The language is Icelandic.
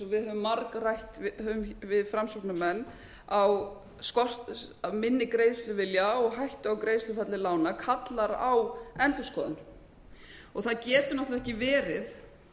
eins og við höfum margrætt við framsóknarmenn á einnig greiðsluvilja og hættu á greiðslufalli lána kallar á endurskoðun og það getur náttúrlega ekki verið